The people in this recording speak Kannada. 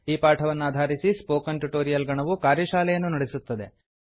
ಈ ಪಾಠವನ್ನಾಧಾರಿಸಿ ಸ್ಪೋಕನ್ ಟ್ಯುಟೊರಿಯಲ್ ಗಣವು ಕಾರ್ಯಶಾಲೆಯನ್ನು ನಡೆಸುತ್ತದೆ